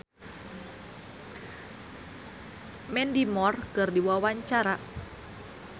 Nowela olohok ningali Mandy Moore keur diwawancara